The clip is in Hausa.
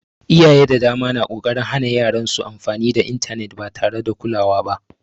Iyaye da dama na ƙoƙarin hana yaran su amfani da intanet ba tare da kulawa ba